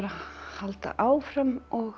halda áfram